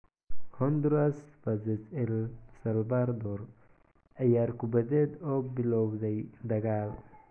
Honduras vs El Salvador: Ciyaar kubadeed oo bilowday dagaal